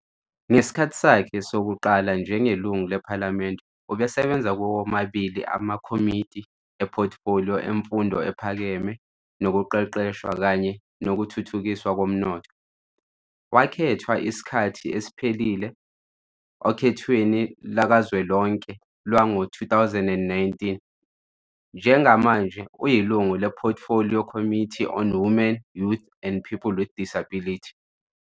Ngesikhathi sakhe sokuqala njengelungu lePhalamende, ubesebenza kuwo womabili amakomidi ephothifoliyo emfundo ephakeme nokuqeqeshwa kanye nokuthuthukiswa komnotho. Wakhethwa isikhathi esiphelele okhethweni lukazwelonke lwango-2019. Njengamanje uyilungu lePortfolio Committee on Women, Youth and People with Disabilities.